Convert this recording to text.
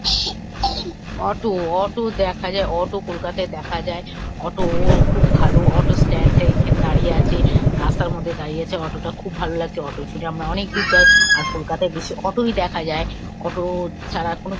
Auto auto দেখা যায় auto কলকাতায় দেখা যায় অটোও খুব ভালো অটো স্ট্যান্ড -এর এখানে দাঁড়িয়ে আছে রাস্তার মধ্যে দাঁড়িয়ে আছে। অটো -টা খুব ভাল লাগছে অটো -এ চড়ে আমরা অনেক দূর যাই আর কলকাতায় বেশি অটো -ই দেখা যায়। অটো ছাড়া কোনো--